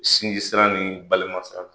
Sinji sira ni balima sira la.